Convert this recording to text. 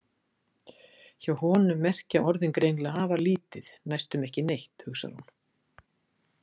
Hjá honum merkja orðin greinilega afar lítið, næstum ekki neitt, hugsar hún.